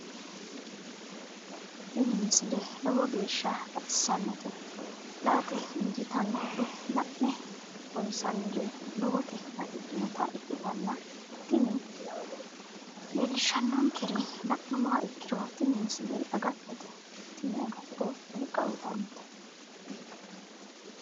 tini misile lowo geeshsha baxissannote la"ate injiitanno woy la'ne ronsannire lowote afidhinota ikkitanna tini leellishshannonkeri la'nummoha ikkiro tini misile agattote tini agatto wolqa uutannote.